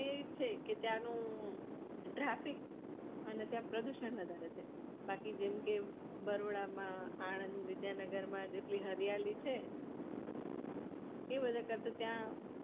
એ છે ત્યાનો દ્રફિક અને પ્રદુષણ વધારે છે બાકી જેમ કે વડોદરા માં આનંદ વિદ્યાનગર માં જેટલી હરિયાળી છે એ બધા કર તો ત્યાં